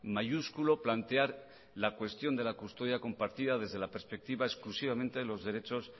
mayúsculo plantear la cuestión de la custodia compartida desde la perspectiva exclusivamente de los derechos